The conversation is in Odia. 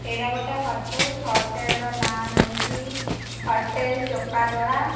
ଏଇଟା ଗୋଟେ ହୋଟେଲ୍ ହୋଟେଲ୍ ର ନା ହେଉଛି ହୋଟେଲ୍ ଚକାଡୋଳା।